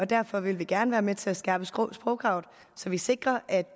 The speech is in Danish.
derfor vil vi gerne være med til at skærpe sprogkravet så vi sikrer at